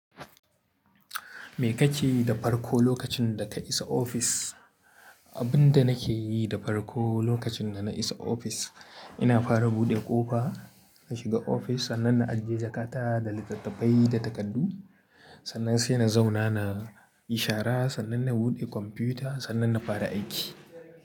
Me kake yi da farko lokacin da ka isa ofis? Abin da nake yi da farko lokacin da na isa ofis, ina fara buɗe ƙofa in shiga ofis sannan na ajiye jakata da littattafai da takardu. Sannan sai na zauna na ishara sannan na buɗe kwamfuta sannan na fara aiki.